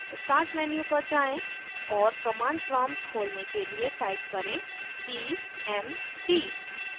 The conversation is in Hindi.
start मेन्यू पर जाएँ और कमांड प्रॉम्प्ट खोलने के लिए टाइप करें cmd